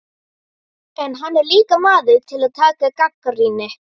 En hann er líka maður til að taka gagnrýni.